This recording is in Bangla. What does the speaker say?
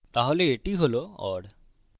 তাহলে এটি হল or